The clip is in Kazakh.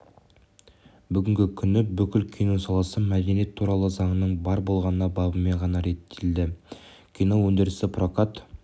бүгінгі күні бүкіл кино саласы мәдениет туралы заңның бар болғаны бабымен ғана реттеледі кино өндірісі прокат